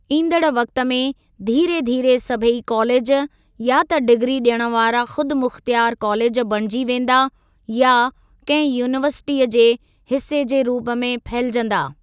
ईंदड़ वक़्ति में धीरे धीरे सभेई कॉलेज या त डिग्री ॾियण वारा खुदि मुख़्तियार कॉलेज बणिजी वेंदा या कंहिं यूनीवर्सिटीअ जे हिसे जे रूप में फहिलजंदा।